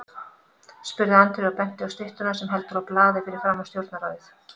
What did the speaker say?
spurði Andri og benti á styttuna sem heldur á blaði fyrir framan Stjórnarráðið.